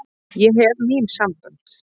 Ég hef mín sambönd.